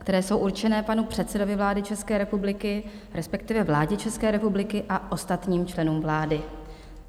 které jsou určené panu předsedovi vlády České republiky, respektive vládě České republiky a ostatním členům vlády.